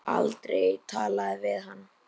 Hafði aldrei talað við hann.